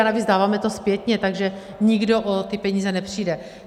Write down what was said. A navíc, dáváme to zpětně, takže nikdo o ty peníze nepřijde.